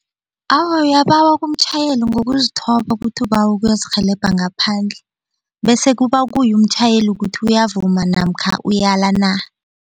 Awa, uyabawa kumtjhayeli ngokuzithoba ukuthi ubawa ukuyozirhelebha ngaphandle bese kuba kuye umtjhayeli ukuthi uyavuma namkha uyala na.